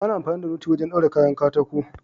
Ana amfani da noti wajen daure kayan katako.